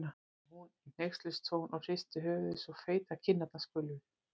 sagði hún í hneykslunartón og hristi höfuðið svo feitar kinnarnar skulfu.